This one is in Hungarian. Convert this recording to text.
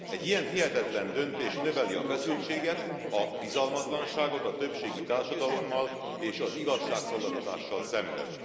Egy ilyen hihetetlen döntés növeli a feszültséget, a bizalmatlanságot a többségi társadalommal és az igazságszolgáltatással szemben.